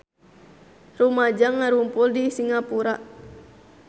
Rumaja ngarumpul di Singapura